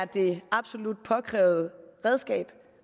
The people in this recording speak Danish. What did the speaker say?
det absolut påkrævede redskab